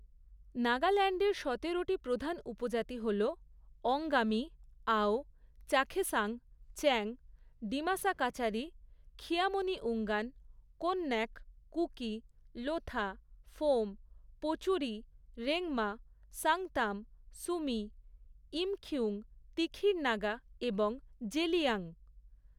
নাগাল্যান্ডের সতেরোটি প্রধান উপজাতি হল অঙ্গামি, আও, চাখেসাং, চ্যাং, ডিমাসা কাচারি, খিয়ামনিউঙ্গান, কোন্যাক, কুকি, লোথা, ফোম, পোচুরি, রেংমা, সাংতাম, সুমি, ইমখিউং, তিখির নাগা এবং জেলিয়াং।